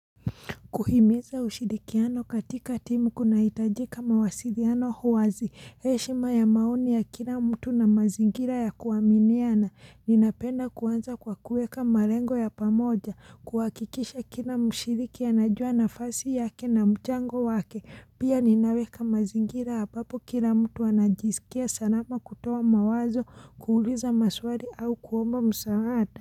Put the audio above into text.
Kuhimeza ushirikiano katika timu kuna hitajika mawasiliano wazi heshima ya maoni ya kila mtu na mazingira ya kuwaminiana ninapenda kuanza kwa kuweka malengo ya pamoja kuwakikisha kila mshiriki ya anajua nafasi yake na mchango wake pia ninaweka mazingira hapa hapo kila mtu anajisikia salama kutoa mawazo kuuliza maswali au kuomba msaada.